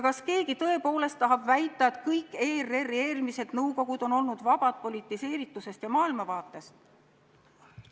Kas keegi tõepoolest tahab väita, et kõik eelmised ERR-i nõukogud on olnud vabad politiseeritusest ja maailmavaatest?